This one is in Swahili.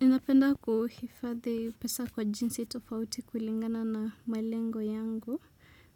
Ninapenda kuhifadhi pesa kwa jinsi tofauti kulingana na malengo yangu.